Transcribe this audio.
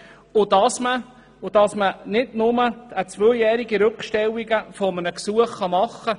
Weiter soll nicht nur eine zweijährige Rückstellung eines Gesuchs vorgenommen werden können.